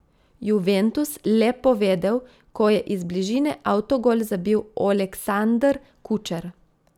Juventus le povedel, ko je iz bližine avtogol zabil Oleksandr Kučer.